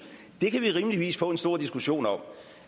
det kan vi rimeligvis få en stor diskussion om